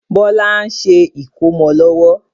Bọlá ń ṣe ìkómọ lọ́wọ́